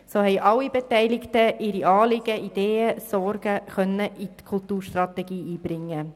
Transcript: So konnten alle Beteiligten ihre Anliegen, Ideen und Sorgen in die Kulturstrategie einbringen.